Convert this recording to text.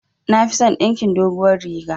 Nafison dinkin doguwar riga